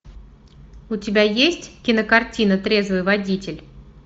у тебя есть кинокартина трезвый водитель